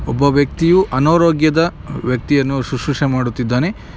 ಒಬ್ಬ ವ್ಯಕ್ತಿ ಅನಾರೋಗ್ಯದ ವ್ಯಕ್ತಿಯನ್ನು ಸಸುಶ್ರೇ ಮಾಡುತ್ತಿದ್ದಾನೆ.